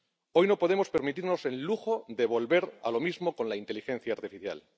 Hoy no podemos permitirnos el lujo de volver a lo mismo con la inteligencia artificial.